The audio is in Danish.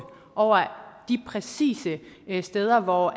over de præcise steder hvor